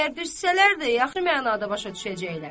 Əgər düssələr də yaxşı mənada başa düşəcəklər.